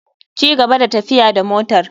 Cigaba da tafiya da motar.